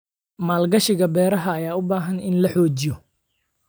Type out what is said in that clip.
Maalgashiga beeraha ayaa u baahan in la xoojiyo.